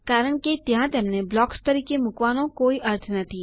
કારણ કે ત્યાં તેમને બ્લોક્સ તરીકે મુકવાનો કોઈ અર્થ નથી